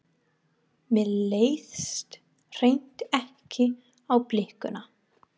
Mér leist hreint ekki á blikuna!